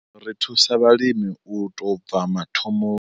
Ri thusa vhalimi u tou bva mathomo.